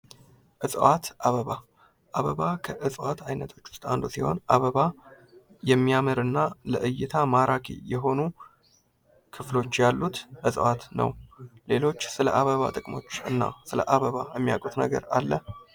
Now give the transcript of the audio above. እፅዋት አበባ። አበባ ከእጽዋት አይነቶች ውስጥ አንዱ ሲሆን አበባ የሚያምር እና ለእይታ ማራኪ የሆኑ ክፍሎች ያሉት እጽዋት ነው። ሌሎች ስለ አበባ ጥቅሞች እና ስለ አበባ የሚያቁት ነገር አለ?